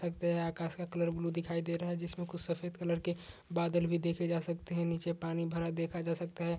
आकाश का colour blue दिखाई दे रहा है। जिसमे कुछ सफ़ेद कलर के बादल भी देखे जा सकता हैं। नीचे पानी भरा देखा जा सकता है।